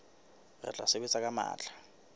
re tla sebetsa ka matla